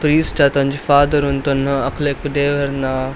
ಕ್ರೈಸ್ತ ದ ಒಂಜಿ ಫಾದರ್ ಉಂತೊನ್ನ ಅಕ್ಲೆಗ್ ದೇವೆರ್ನ.